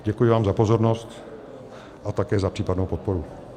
Děkuji vám za pozornost a také za případnou podporu.